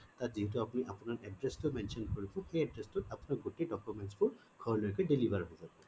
তাত যিহেটো আপুনি আপোনাৰ address টো mention কৰিব সেই address টো আপোনাৰ গোটেই documents ঘৰলৈকে deliver হই জব